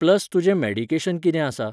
Plus तुजें medication कितें आसा.